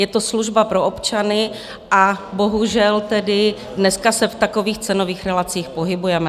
Je to služba pro občany a bohužel tedy dneska se v takových cenových relacích pohybujeme.